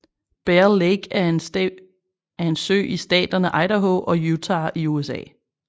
Bear Lake er en sø i staterne Idaho og Utah i USA